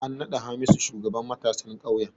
An naɗa Hamisu shugaban matasan ƙauyen.